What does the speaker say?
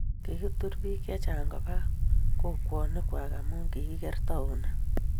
kiTUR BIIK CHE CHANG' KOBA KOKWONIKWAK AMU KIKIER TOWNIT